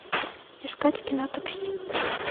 искать кино такси